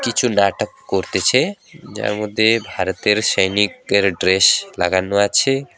কিছু নাটক করতেছে যার মধ্যে ভারতের সৈনিকদের ড্রেস লাগানো আছে।